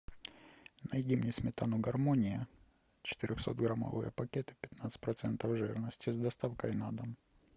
найди мне сметану гармония четырехсотграммовые пакеты пятнадцать процентов жирности с доставкой на дом